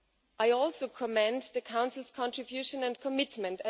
I also commend the Council's contribution and commitment.